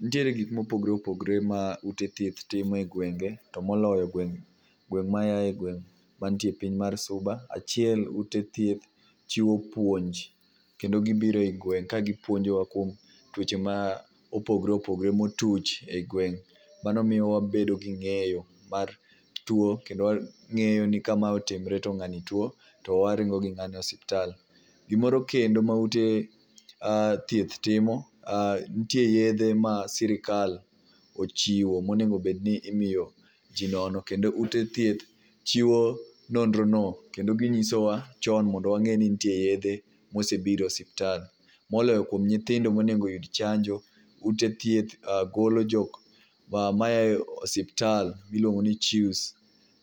Nitiere gik mopogore opogore ma ute thieth timo e gwenge, to moloyo gweng' ma aaye, gweng' mantie e piny mar Suba. Achiel ute thieth chiwo puonj, kendo gibiro e gweng' ka gipuonjowa kuom tuoche ma opogore opogore motuch egweng' mano miyo wabedo gi ng'eyo mar tuo kendo wang'eyo ni kamae otimre to ng'ani tuo to waringo gi ng'ani e osiptal. Gimoro kendo ma ute thieth timo, nitie yedhe ma sirkal ochiwo monego bed ni imiyo ji nono kendo ute thieth chiwo nonrono kendo ginyisowa chon mondo wang'e ni nitie yedhe mosebiro e osiptal. Moloyo kuom nyithindo monego oyud chanjo, ute thieth golo jok ma osiptal miluongo ni chius.